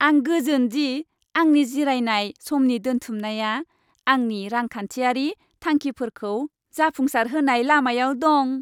आं गोजोन दि आंनि जिरायनाय समनि दोनथुमनाया आंनि रांखान्थियारि थांखिफोरखौ जाफुंसारहोनाय लामायाव दं।